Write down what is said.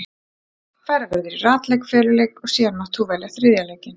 Farið verður í ratleik, feluleik og síðan mátt þú velja þriðja leikinn.